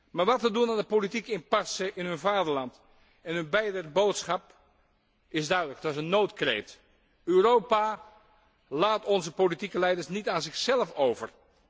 Maar wat te doen aan de politieke impasse in hun vaderland? Hun beider boodschap is duidelijk, het is een noodkreet Europa, laat onze politieke leiders niet aan zichzelf over.